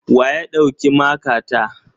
Wa ya ɗauki makata?